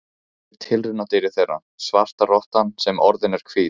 Ég er tilraunadýrið þeirra, svarta rottan sem orðin er hvít.